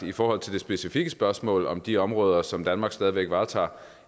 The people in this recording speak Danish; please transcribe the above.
i forhold til det specifikke spørgsmål om de områder som danmark stadig væk varetager